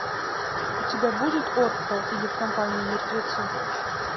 у тебя будет отто или в компании мертвецов